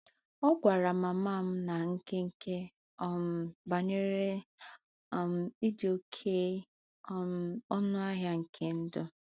Ọ gwara mama m ná nkenke um banyere um ịdị oké um ọnụ ahịa nke ndụ.